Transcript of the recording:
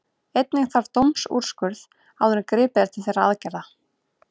Einnig þarf dómsúrskurð áður en gripið er til þessara aðgerða.